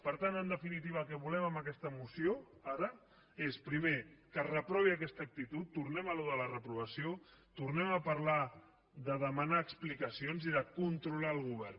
per tant en definitiva el que volem amb aquesta moció ara és primer que es reprovi aquesta actitud tornem a això de la reprovació tornem a parlar de demanar explicacions i de controlar el govern